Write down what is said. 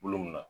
Bolo mun na